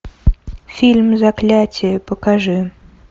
фильм заклятие покажи